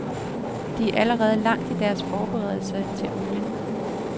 De er allerede langt i deres forberedelser til olien.